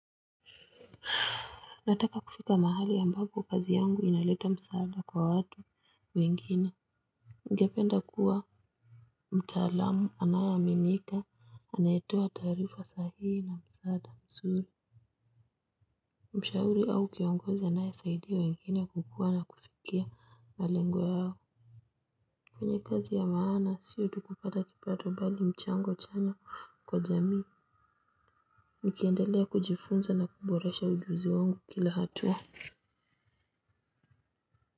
Nataka kufika mahali ambapo kazi yangu inaleta msaada kwa watu wengine. Ngependa kuwa mtaalamu anayeaminika anayetua tarifa sahihi na msaada msuri. Mshahuri au kiongozi anayesaidia wengine kukuwa na kufikia malengo ya hao. Kwenye kazi ya maana sio tu kupata kipato bali mchango chanya kwa jamii nikiandelea kujifunza na kuboresha ujuzi wangu kila hatua.